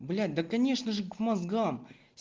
блять да конечно же к мозгам